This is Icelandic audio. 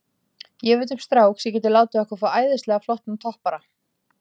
Ég veit um strák sem getur látið okkur fá æðislega flottan toppara.